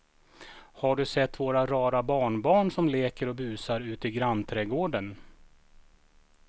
Har du sett våra rara barnbarn som leker och busar ute i grannträdgården!